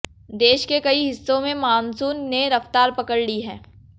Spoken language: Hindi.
देश के कई हिस्सों में मॉनसून ने रफ्तार पकड़ ली है